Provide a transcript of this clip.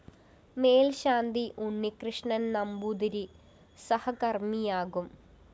മേല്‍ശാന്തി Unnikrishnan‍ Namboothiri സഹകര്‍മ്മിയാകും